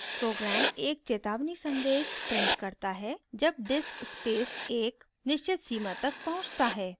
program एक चेतावनी संदेश prints करता है जब disk space एक निश्चित सीमा तक पहुँचता है